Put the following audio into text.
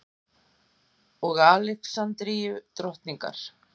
og Alexandrínu drottningar.